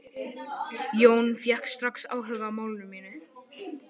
Jón fékk strax áhuga á málinu.